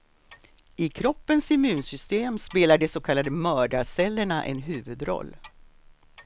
I kroppens immunsystem spelar de så kallade mördarcellerna en huvudroll.